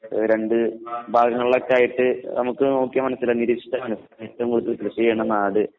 രണ്ട് ഭാഗങ്ങളിലൊക്കെ ആയിട്ട് നമുക്ക് നോക്കിയാൽ മനസ്സിലാവും നിരീക്ഷിച്ചാൽ മനസ്സിലാകും ഏറ്റവും കൂടുതൽ കൃഷി ചെയ്യുന്ന നാട്